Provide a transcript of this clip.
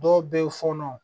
Dɔw bɛ ye fɔnɔ